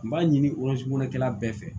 N b'a ɲini bɛɛ fɛ